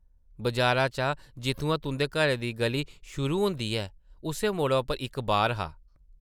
बजारा चा जित्थुआं तुंʼदे घरै दी गʼली शुरू होंदी ही, उस्सै मोड़ै उप्पर इक ‘बार’ हा ।